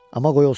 Amma qoy olsun.